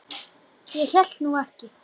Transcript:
Ég hélt nú ekki.